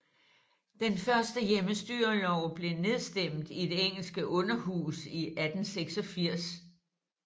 Den første hjemmestyrelov blev nedstemt i det engelske underhus i 1886